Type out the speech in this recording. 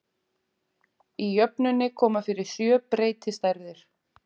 Í jöfnunni koma fyrir sjö breytistærðir.